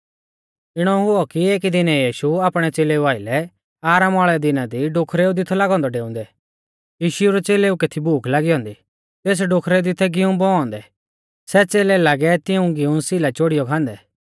इणौ हुऔ कि एकी दिनै यीशु आपणै च़ेलेऊ आइलै आरामा वाल़ै दिना दी डोखरेउ दी थौ लागौ औन्दौ डेउंदै यीशु रै च़ेलेऊ कै थी भूख लागी औन्दी तेस डोखरै दी थै गीऊं बौऔ औन्दै सै च़ेलै लागै तिऊं गिऊं सै सीला चोड़ियौ खांदै